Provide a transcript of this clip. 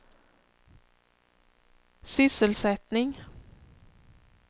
sysselsättning